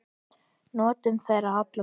Njótum þeirra allra.